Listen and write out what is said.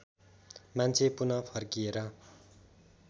मान्छे पुन फर्किएर